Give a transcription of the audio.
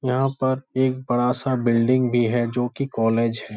यहाँ पर एक बड़ा-सा बिल्डिंग भी है जो की कॉलेज है।